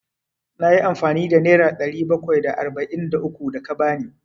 Na yi amfani da nera ɗari bakwai da arba'in da uku da ka ba ni.